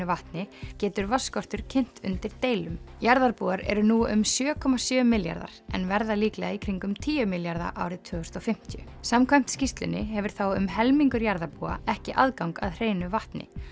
vatni getur vatnsskortur kynt undir deilum jarðarbúar eru nú um sjö komma sjö milljarðar en verða líklega í kringum tíu milljarðar árið tvö þúsund og fimmtíu samkvæmt skýrslunni hefur þá um helmingur jarðarbúa ekki aðgang að hreinu vatni